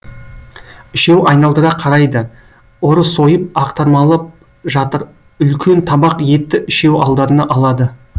үшеуі айналдыра қарайды ұры сойып ақтармалап жатыр үлкен табақ етті үшеуі алдарына алады